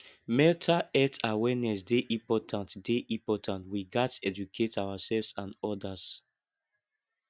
mental health awareness dey important dey important we gats educate ourselves and odas